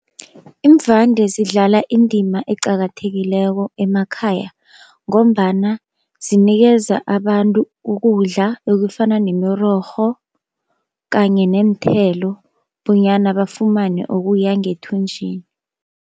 Iimvande zidlala indima eqakathekileko emakhaya, ngombana zinikeza abantu ukudla ekufana nemirorho kanye neenthelo bonyana bafumane okuya ngethunjini.